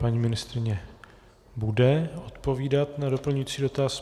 Paní ministryně bude odpovídat na doplňující dotaz.